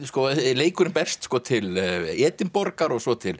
leikurinn berst til Edinborgar og svo til